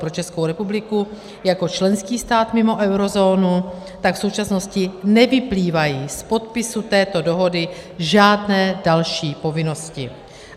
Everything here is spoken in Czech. Pro Českou republiku jako členský stát mimo eurozónu tak v současnosti nevyplývají z podpisu této dohody žádné další povinnosti.